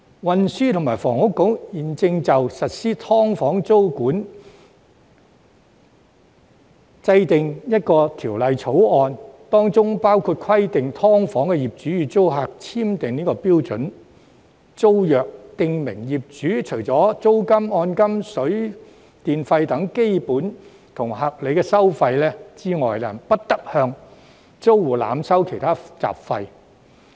運輸及房屋局現正就實施"劏房"租務管制訂定相關法案，當中包括規定"劏房"業主與租客簽訂標準租約，訂明業主除租金、按金、水電費等基本和合理收費之外，不得向租戶濫收其他雜費。